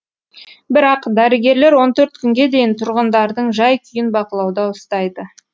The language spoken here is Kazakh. бірақ дәрігерлер он төрт күнге дейін тұрғындардың жай күйін бақылауда ұстайды